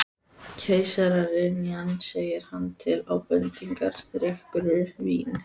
Keisaraynjan segir hann til ábendingar, drekkur vín